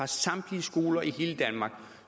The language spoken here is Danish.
samtlige skoler i hele danmark